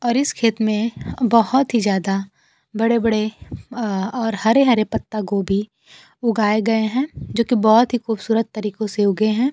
और इस खेत में बहोत ही जादा बड़े-बड़े अअ और हरे-हरे पत्तागोभी उगाए गए हैं जोकि बहोत ही खूबसूरत तरीको से उगे हैं।